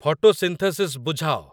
photosynthesis ବୁଝାଅ